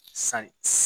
San